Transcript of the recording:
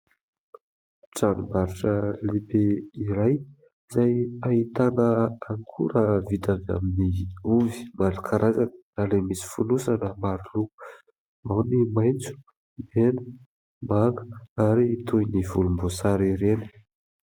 Tranombarotra lehibe iray izay ahitana akora vita avy amin'ny ovy maro karazana na ilay misy fonosana maro loko ao ny maitso, mena, manga ary toy ny volomboasary ireny.